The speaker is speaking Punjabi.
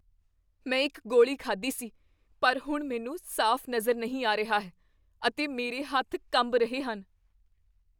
ਮੈਂ ਇੱਕ ਗੋਲੀ ਖਾਧੀ ਸੀ ਪਰ ਹੁਣ ਮੈਨੂੰ ਸਾਫ਼ ਨਜ਼ਰ ਨਹੀਂ ਆ ਰਿਹਾ ਹੈ ਅਤੇ ਮੇਰੇ ਹੱਥ ਕੰਬ ਰਹੇ ਹਨ।